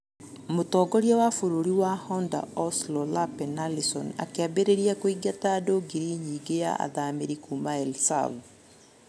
Mũtongoria wa bũrũri wa Honder Oslo Lapen Arison akĩambĩrĩria kũingata andũ ngiri nyingĩ ya athamĩri kuma El Sav.